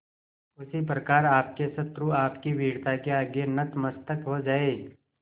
उसी प्रकार आपके शत्रु आपकी वीरता के आगे नतमस्तक हो जाएं